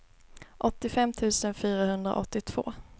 åttiofem tusen fyrahundraåttiotvå